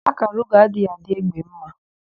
Ákàrà ugo adịghị adị égbé ḿmā.